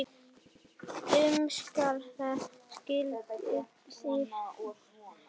Umskera skyldi stúlkur og drengi.